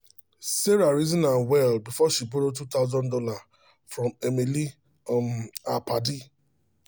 sarah reason am well before she um borrow two thousand dollars um from emily um her padi